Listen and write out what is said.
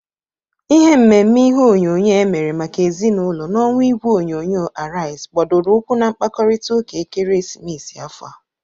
Ihe mmemme ihe onyonyo emere maka ezinaụlọ na ọwa igwe onyonyo Arịaz gbadoro ụkwụ na mkpakọrịtaụka ekeresimesi afọ a..